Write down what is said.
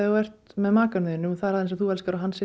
með maka sem þú elskar að hann sé